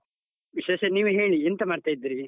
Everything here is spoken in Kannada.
ವಿಶೇಷ ನೀವೇ ಹೇಳಿ, ಎಂತ ಮಾಡ್ತಾ ಇದ್ದೀರಿ?